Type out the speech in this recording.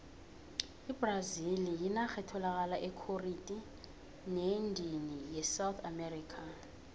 ibrazili yinarha etholaka ekhoriti neendini yesouth america